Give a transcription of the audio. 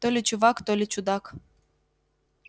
то ли чувак то ли чудак